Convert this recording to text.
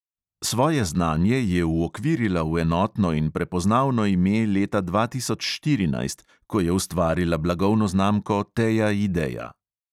Svoje znanje je uokvirila v enotno in prepoznavno ime leta dva tisoč štirinajst, ko je ustvarila blagovno znamko teja ideja.